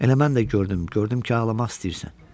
Elə mən də gördüm, gördüm ki, ağlamaq istəyirsən.